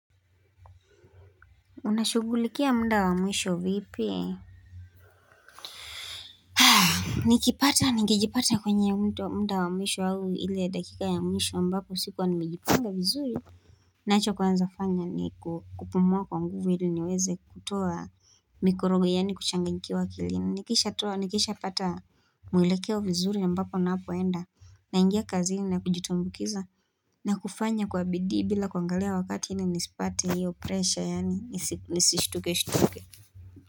Unashugulikia mda wa mwisho vipi Nikipata ningejipata kwenye mto wa mda wa mwisho au ile dakika ya mwisho ambapo sikuwa nimejipanga vizuri nacho kwanza fanya ni kupuma kwa nguvu hili niweze kutoa mikorogo yaani kuchanganyikiwa akilina nikisha toa nikisha pata mwelekeo vizuri ambapo napoenda naingia kazini na kujitumbukiza na kufanya kwa bidii bila kuangalia wakati ili nisipate hiyo presha yaani nisishtuke shtuke.